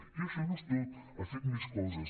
i això no és tot ha fet més coses